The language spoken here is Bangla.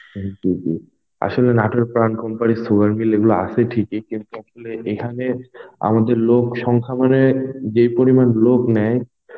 আসলে নাটোরে প্রাণ Company sugar mill এগুলো আছে ঠিকই কিন্তু আসলে এখানে আমাদের লোকসংখ্যা মানে যে পরিমান লোক নেয়,